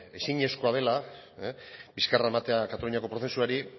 ezinezkoa dela bizkarra ematea kataluniako prozesuari